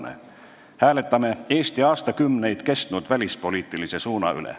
Me hääletame Eesti aastakümneid kestnud välispoliitilise suuna üle.